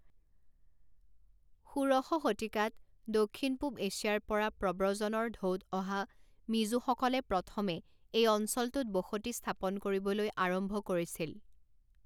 ষোড়শ শতিকাত দক্ষিণ পূব এছিয়াৰ পৰা প্ৰব্ৰজনৰ ঢৌত অহা মিজোসকলে প্ৰথমে এই অঞ্চলটোত বসতি স্থাপন কৰিবলৈ আৰম্ভ কৰিছিল।